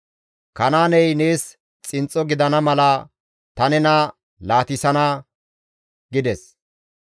«Kanaaney nees xinxxo gidana mala ta nena laatissana» gides.